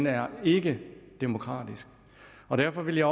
er ikke demokratisk derfor vil jeg